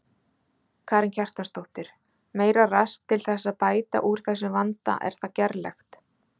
Karen Kjartansdóttir: Meira rask til þess að bæta úr þessum vanda er það gerlegt?